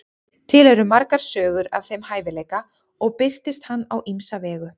til eru margar sögur af þeim hæfileika og birtist hann á ýmsa vegu